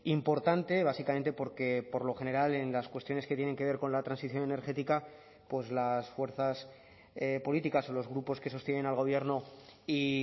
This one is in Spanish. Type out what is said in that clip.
importante básicamente porque por lo general en las cuestiones que tienen que ver con la transición energética pues las fuerzas políticas o los grupos que sostienen al gobierno y